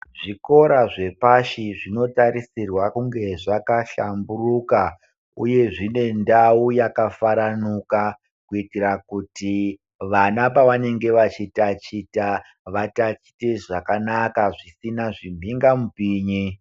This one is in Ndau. Zvikora zvepashi zvinotarisirwa kunge zvakahlamburuka uye zvine ndau yakafaranuka, kuitira kuti vana pavanenge vechitaticha vatatiche zvakanaka zvisina zvibinga mupinyi.